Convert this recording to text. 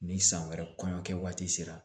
Ni san wɛrɛ kɔɲɔ kɛ waati sera